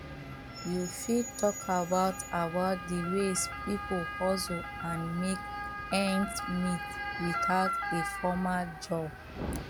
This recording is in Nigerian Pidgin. you fit talk about about di ways people hustle and make ends meet without a formal job